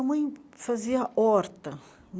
fazia horta.